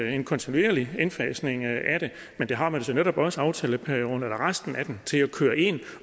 en kontinuerlig indfasning af det men det har man jo så netop også aftaleperioden eller resten af den til at køre ind og